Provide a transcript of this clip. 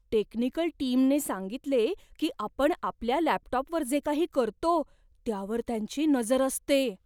Technical टीमने सांगितले की आपण आपल्या लॅपटॉपवर जे काही करतो, त्यावर त्यांची नजर असते.